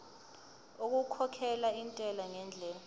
okukhokhela intela ngendlela